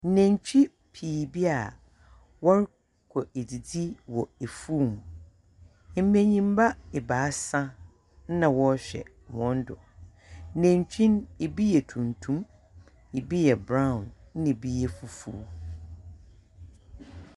Nantwi pii bi a wɔrokɔ edzidzi wɔ efuw mu, mbanyimba ebiasa na wɔrohwɛ hɔn do. Nantwi no, bi yɛ tuntum, bi yɛ brown, na bi yɛ fufuw.